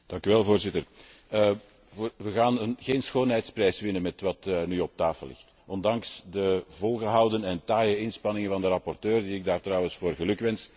Voorzitter, we gaan geen schoonheidsprijs winnen met wat nu op tafel ligt, ondanks de volgehouden en taaie inspanningen van de rapporteur, die ik daar trouwens voor gelukwens.